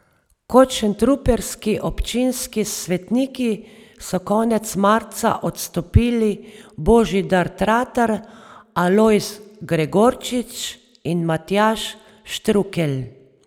Kot šentrupertski občinski svetniki so konec marca odstopili Božidar Tratar, Alojz Gregorčič in Matjaž Štrukelj.